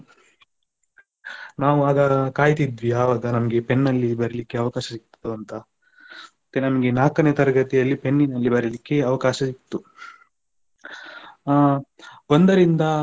ನಾವು ಆಗ ಕಾಯ್ತಾ ಇದ್ವಿ ಯಾವಾಗ ನಮಗೆ ಪೆನ್ನಲ್ಲಿ ಬರೀಲಿಕ್ಕೆ ಅವಕಾಶ ಸಿಗ್ತದೆ ಅಂತ ಮತ್ತೆ ನಮಗೆ ನಾಲ್ಕನೇ ತರಗತಿಯಲ್ಲಿ ಪೆನ್ನಿನಲ್ಲಿ ಬರೀಲಿಕ್ಕೆ ಅವಕಾಶ ಸಿಗ್ತು ಆ ಒಂದರಿಂದ